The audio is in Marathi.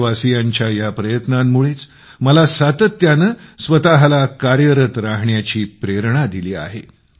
देशवासियांच्या या प्रयत्नांमुळे मला सातत्यानं स्वतःला कार्यरत रहाण्याची प्रेरणा दिली आहे